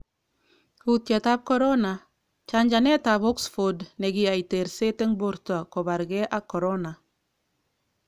Kutyet tab Corona: Chajanet tabOxford nekiyai terset eng borto kobarge ak corona.